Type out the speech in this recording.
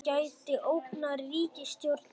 Gæti ógnað ríkisstjórninni